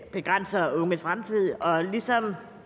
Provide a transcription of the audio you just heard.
begrænser unges fremtid og ligesom